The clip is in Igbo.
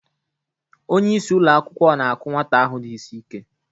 Onye isi ụlọ akwụkwọ na-akụ nwata ahụ dị isi ike